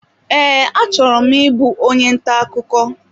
Ee, achọrọ m ịbụ onye ntà ọkụkọ